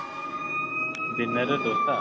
dinner ରେ ଦୋସା?